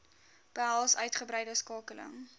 behels uitgebreide skakeling